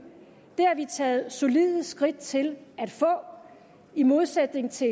det har vi taget solide skridt til at få i modsætning til